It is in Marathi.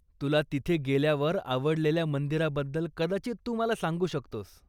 तुला तिथे गेल्यावर आवडलेल्या मंदिराबद्दल कदाचित तू मला सांगू शकतोस.